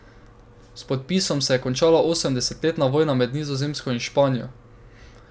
S podpisom se je končala osemdesetletna vojna med Nizozemsko in Španijo.